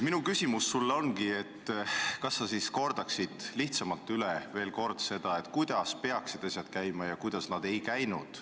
Minu palve sulle ongi, et palun korda lihtsamalt veel kord üle, kuidas peaksid asjad käima ja kuidas nad ei käinud.